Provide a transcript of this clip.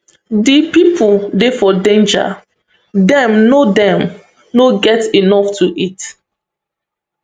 di pipo dey for danger dem no dem no get enough to eat